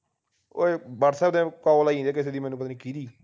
ਓਏ whatsapp ਤੇ call ਆਈ ਜਾਂਦੀ ਹੈ ਕਿਸੇ ਦੀ ਮੈਨੂੰ ਪਤਾ ਨਹੀਂ ਕਿਹਦੀ